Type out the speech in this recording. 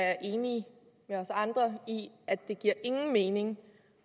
er enig med os andre i at det giver ingen mening